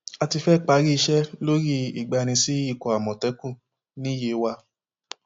a ti fẹẹ parí iṣẹ lórí ìgbani sí ikọ àmọtẹkùn ní yewa